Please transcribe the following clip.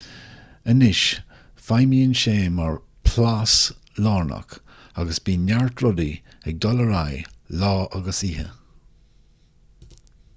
anois feidhmíonn sé mar an plás lárnach agus bíonn neart rudaí ag dul ar aghaidh lá agus oíche